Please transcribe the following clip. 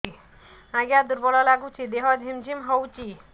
ଆଜ୍ଞା ଦୁର୍ବଳ ଲାଗୁଚି ଦେହ ଝିମଝିମ ହଉଛି